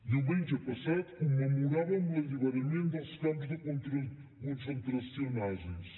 diumenge passat commemoràvem l’alliberament dels camps de concentració nazis